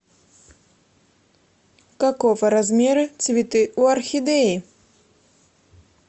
какого размера цветы у орхидеи